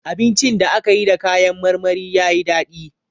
Abincin da aka yi da kayan marmari ya yi dadi.